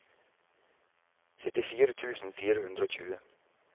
syttifire tusen fire hundre og tjue